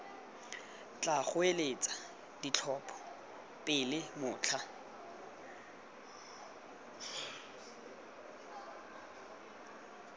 tla goeletsa ditlhopho pele motlha